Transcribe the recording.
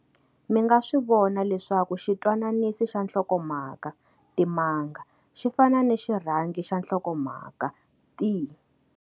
Mi nga swi vona leswaku xitwananisi xa nhlokomhaka timanga, xi fana ni xirhangi xa nhlokomhaka ti-.